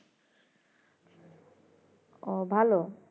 ও ভালো